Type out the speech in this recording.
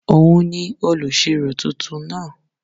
Òun ni olùṣirò tuntun náà